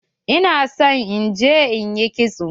Ina so in je in ƴi kitso.